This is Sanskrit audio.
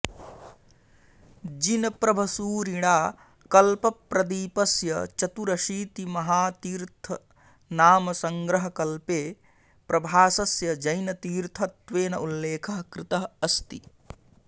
जिनप्रभसूरिणा कल्पप्रदीपस्य चतुरशीतिमहातीर्थनामसङ्ग्रहकल्पे प्रभासस्य जैनतीर्थत्वेन उल्लेखः कृतः अस्ति